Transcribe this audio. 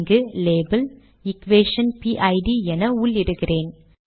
இங்கு label equation fit என உள்ளிடுகிறேன்